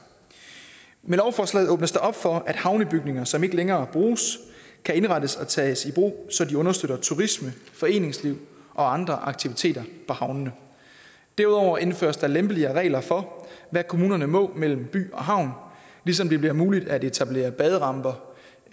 med lovforslaget åbnes der op for at havnebygninger som ikke længere bruges kan indrettes og tages i brug så de understøtter turisme foreningsliv og andre aktiviteter på havnene derudover indføres der lempeligere regler for hvad kommunerne må mellem by og havn ligesom det bliver muligt at etablere baderamper